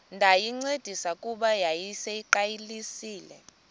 ndayincedisa kuba yayiseyiqalisile